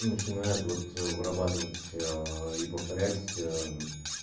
начинает вот вырабатывать и повторять